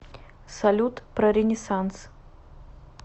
салют про ренессанс